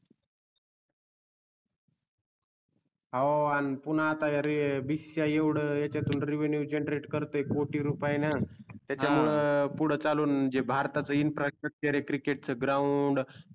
अहो पुन्हा आता bcci येवड याच्यातून renew generate करते कोटी रुपय णा हा त्याच्या मूळे पूड चालून जे भारताच infrastructure आहे cricket ground